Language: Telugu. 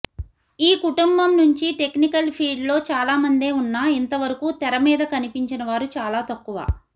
ఈ కుటుంబం నుంచి టెక్నికల్ ఫీల్ట్లో చాలామందే ఉన్నా ఇంతవరకు తెర మీద కనిపించిన వారు చాలా తక్కువ